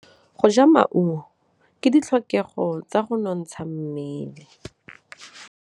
Go ja maungo ke ditlhokegô tsa go nontsha mmele.